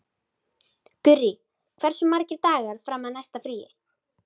Gurrí, hversu margir dagar fram að næsta fríi?